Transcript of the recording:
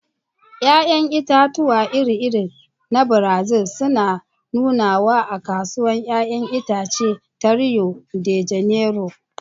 Ya'yan itatuwa iri-iri na Brazil suna nunawa a Kasuwar 'ya'yan itace ta Rio de Janeiro.